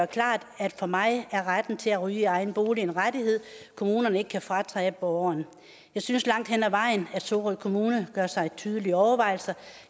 klart at for mig er retten til at ryge i egen bolig en rettighed kommunerne ikke kan fratage borgeren jeg synes langt hen ad vejen at sorø kommune gør sig tydelige overvejelser